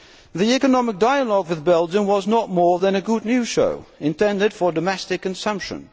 The economic dialogue with Belgium was no more than a good news show intended for domestic consumption.